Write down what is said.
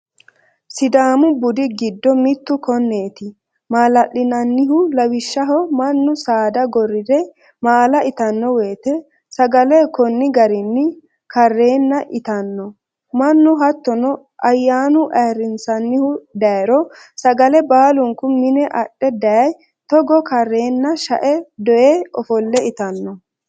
Sidaamu budi giddo mittu koneti maalalinannihu lawishshaho mannu saada gorire maalla ittano woyte sagale koni garinni karenna ittano mannu, hottono ayyanu ayirrinsanihu dayiro sagale baalunku mine adhe daye togo karrenna she"e yee ofolle ittano.